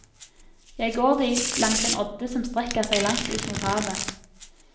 Jeg går dit langs en odde som strekker seg langt ut mot havet.